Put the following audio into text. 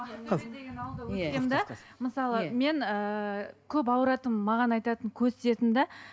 мысалы мен ыыы көп ауыратынмын маған айтатын көз тиетін де